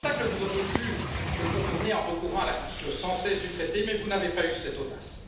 Cet obstacle, vous auriez pu le contourner en recourant à l'article 116 du traité, mais vous n'avez pas eu cette audace.